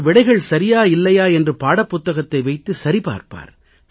அவர் விடைகள் சரியா இல்லையா என்று பாடப்புத்தகத்தை வைத்து சரி பார்ப்பார்